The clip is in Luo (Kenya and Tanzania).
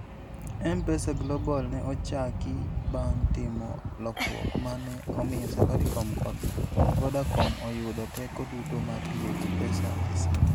M-Pesa Global ne ochaki bang' timo lokruok ma ne omiyo Safaricom kod Vodacom oyudo teko duto mar tiyo gi pesa e simo.